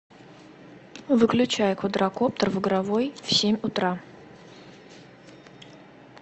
выключай квадракоптер в игровой в семь утра